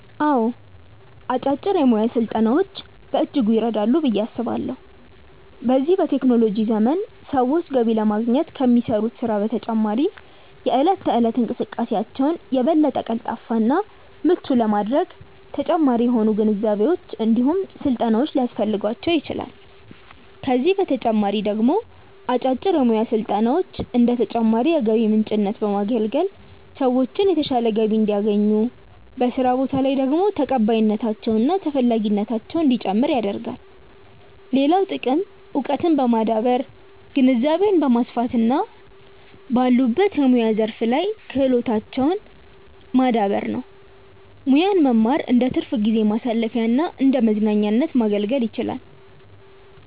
አዎ አጫጭር የሙያ ስልጠናዎች በእጅጉ ይረዳሉ ብዬ አስባለሁ። በዚህ በቴክኖሎጂ ዘመን ሰዎች ገቢ ለማግኘት ከሚሰሩት ስራ በተጨማሪ የእለት ተእለት እንቅስቃሴያቸውን የበለጠ ቀልጣፋ እና ምቹ ለማድረግ ተጨማሪ የሆኑ ግንዛቤዎች እንዲሁም ስልጠናዎች ሊያስፈልጓቸው ይችላል፤ ከዚህ በተጨማሪ ደግሞ አጫጭር የሙያ ስልጠናዎች እንደ ተጨማሪ የገቢ ምንጭነት በማገልገል ሰዎችን የተሻለ ገቢ እንዲያገኙ፤ በስራ ቦታ ላይ ደግሞ ተቀባይነታቸው እና ተፈላጊነታቸው እንዲጨምር ያደርጋል። ሌላው ጥቅም እውቀትን በማዳበር ግንዛቤን ማስፋት እና ባሉበት የሙያ ዘርፍ ላይ ያላቸውን ክህሎት ማዳበር ነው። ሙያን መማር እንደትርፍ ጊዜ ማሳለፊያና እንደመዝናኛነት ማገልገል ይችላል።